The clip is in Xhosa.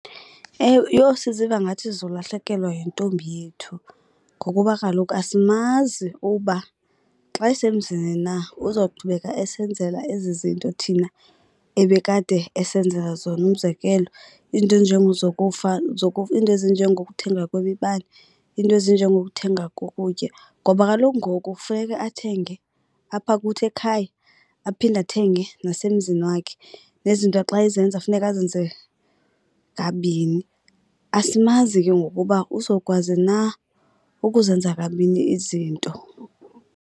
Ewe, yho siziva ngathi sizolahlekelwa yintombi yethu ngokuba kaloku asimazi uba xa esemzini na uzawuqhubeka esenzela ezi zinto thina ebekade esenzela zona. Umzekelo, iinto iinto ezinjengokuthenga kwemibane, iinto ezinjengokuthenga kokutya ngoba kaloku ngoku funeke athenge apha kuthi ekhaya aphinde athenge nasemzini wakhe. Nezinto xa ezenza funeka azenze kabini. Asimazi ke ngoku uba uzowukwazi na ukuzenza kabini izinto.